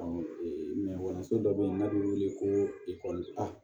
kalanso dɔ be yen n'a be wele ko ekɔlita